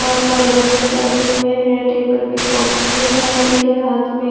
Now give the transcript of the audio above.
बहुत सारे बच्चे बैठे हुए हैं टेबल पर कॉपी है उनके हाथ में।